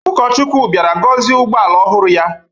Ụkọchukwu bịara gọzie ụgbọala ọhụrụ ya.